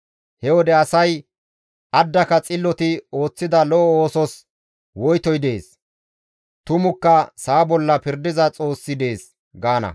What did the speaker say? He wode asay, «Addaka xilloti ooththida lo7o oosos woytoy dees; tumukka sa7a bolla pirdiza Xoossi dees» gaana.